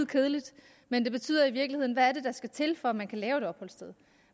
kedeligt men det betyder i virkeligheden hvad er det der skal til for at man kan lave et opholdssted